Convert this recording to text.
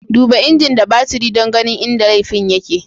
Duba injin da baturi don ganin inda laifin yake.